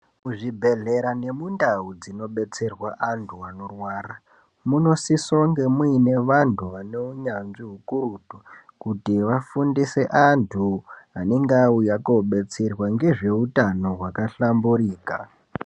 Muzvibhedlera nemundau dzinodetserwa vantu vanorwara munosisonge mune vanhu vane hunyanzvi hukurutu kuti vafundise antu anenge auya kobetserwa ngezveutano hwakahlamburika